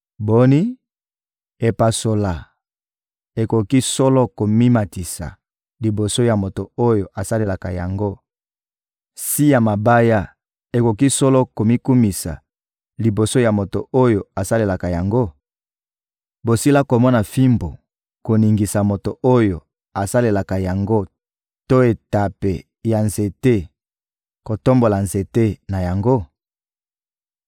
Boni, epasola ekoki solo komimatisa liboso ya moto oyo asalelaka yango; si ya mabaya ekoki solo komikumisa liboso ya moto oyo asalelaka yango? Bosila komona fimbu koningisa moto oyo asalelaka yango to etape ya nzete kotombola nzete na yango?